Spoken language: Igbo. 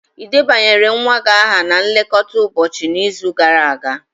Ị debanyere nwa gị aha na nlekọta ụbọchị n'izu gara aga?